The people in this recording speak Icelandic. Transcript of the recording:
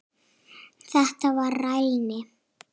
Þetta var rælni.